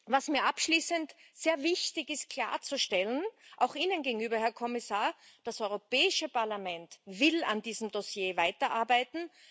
Was mir abschließend sehr wichtig ist klarzustellen, auch Ihnen gegenüber, Herr Kommissar Das Europäische Parlament will an diesem Dossier weiterarbeiten.